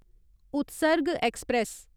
Utsarg express